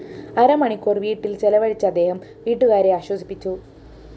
അര മണിക്കൂര്‍ വീട്ടില്‍ ചെലവഴിച്ച അദ്ദേഹം വീട്ടുകാരെ ആശ്വസിപ്പിച്ചു